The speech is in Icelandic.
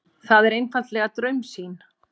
Það er einfaldlega draumsýn.